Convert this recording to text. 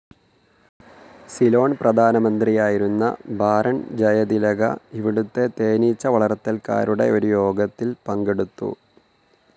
സിലോൺ പ്രധാനമന്ത്രിയായിരുന്ന ബാരോൺ ജയതിലക ഇവിടുത്തെ തേനീച്ച വളർത്തൽകാരുടെ ഒരു യോഗത്തിൽ പങ്കെടുത്തു.